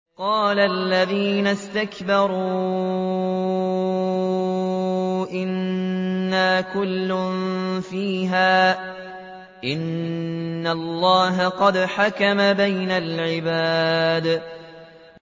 قَالَ الَّذِينَ اسْتَكْبَرُوا إِنَّا كُلٌّ فِيهَا إِنَّ اللَّهَ قَدْ حَكَمَ بَيْنَ الْعِبَادِ